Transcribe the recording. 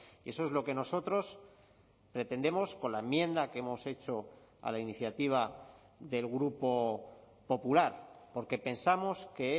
y eso es lo que nosotros pretendemos con la enmienda que hemos hecho a la iniciativa del grupo popular porque pensamos que